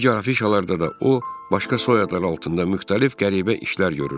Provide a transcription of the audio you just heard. Digər afişalarda da o, başqa soyadlar altında müxtəlif qəribə işlər görürdü.